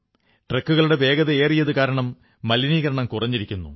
ട്രക്കുകളുടെ വേഗതയേറിയതു കാരണം മലിനീകരണം കുറഞ്ഞിരിക്കുന്നു